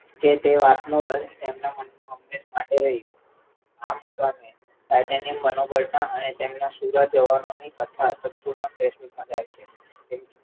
કે તે વાત નો રંજ એમના મનમાં હંમેશા માટે રહી ગયો આ મુકામે titanium મનોબળના અને તેમના સુરા જવાનોની કથા તત્વોના જાય છે